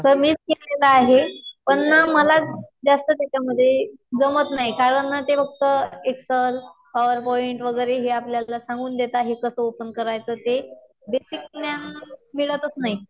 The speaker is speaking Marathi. सर मीच घेतलेलं आहे. पण ना मला जास्त त्याच्यामध्ये जमत नाही. कारण ना ते फक्त एक्सल, पॉवर पॉईंट वगैरे हे आपल्याला सांगून देतात. हे कसं ओपन करायचं ते. बेसिक ज्ञान मिळतच नाही.